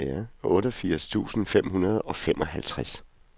otteogfirs tusind fem hundrede og femoghalvtreds